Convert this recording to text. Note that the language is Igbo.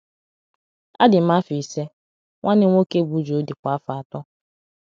Adị m afọ ise, nwanne m nwoke bụ́ Joe dịkwa afọ atọ.